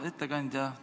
Hea ettekandja!